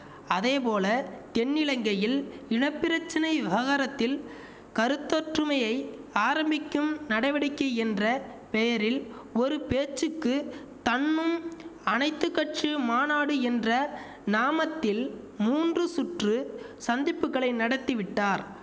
அதேபோல தென்னிலங்கையில் இன பிரச்சனை விவகாரத்தில் கருத்தொற்றுமையை ஆரம்பிக்கும் நடவடிக்கை என்ற பெயரில் ஒரு பேச்சுக்கு தன்னும் அனைத்து கட்சி மாநாடு என்ற நாமத்தில் மூன்று சுற்று சந்திப்புகளை நடத்தி விட்டார்